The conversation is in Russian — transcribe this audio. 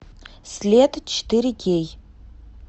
след четыре кей